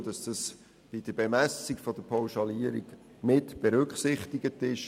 Dazu kommt, dass dies bei der Bemessung der Pauschalierung mitberücksichtigt ist.